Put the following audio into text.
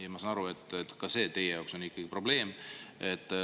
Ma saan aru, et see on ka teie jaoks ikkagi probleem.